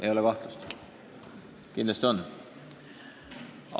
Ei ole kahtlust, kindlasti on!